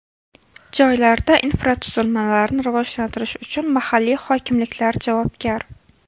Joylarda infratuzilmalarni rivojlantirish uchun mahalliy hokimliklar javobgar.